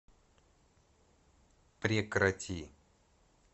прекрати